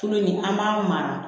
Tulo nin an b'a mara